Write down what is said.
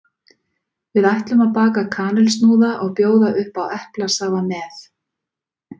Við ætlum að baka kanilsnúða og bjóða upp á eplasafa með.